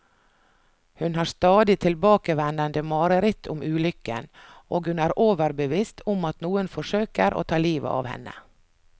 Hun har stadig tilbakevendende mareritt om ulykken, og hun er overbevist om at noen forsøker å ta livet av henne.